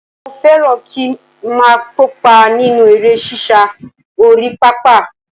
Mo fẹ́ràn kí ń máa kópa nínú eré sísá orí pápá